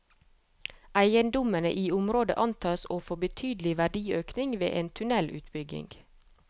Eiendommene i området antas å få betydelig verdiøkning ved en tunnelutbygging.